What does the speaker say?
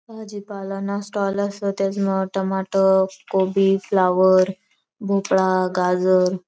भाजी पाला ना स्टॉल असं त्या मज टमाटर गोभी फ्लावर मोपला गाजर--